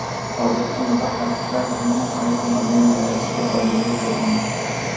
Hozircha mutaxassislar aynan qaysi model yaratilishiga oydinlik kiritmagan.